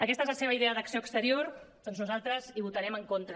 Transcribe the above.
aquesta és la seva idea d’acció exterior doncs nosaltres hi votarem en contra